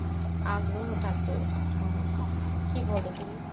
আগ্রহ থাকতো মানুষের, কি বল তুমি?